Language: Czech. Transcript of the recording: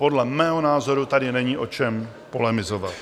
Podle mého názoru tady není o čem polemizovat.